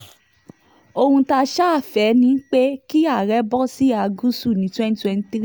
ohun tá a ṣáà fẹ́ ni pé kí àárẹ̀ bọ́ síhà gúúsù ní twenty twenty three